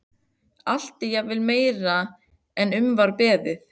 Allt er jafnvel meira en um var beðið.